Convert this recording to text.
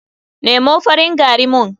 Nemo farin gari mun.